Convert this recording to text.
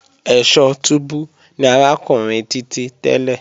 Ẹ̀sọ́ túbú ni arákùnrin Títí tẹ́lẹ̀